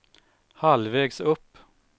halvvägs upp